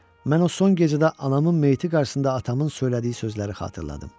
Mən o son gecədə anamın meyiti qarşısında atamın söylədiyi sözləri xatırladım.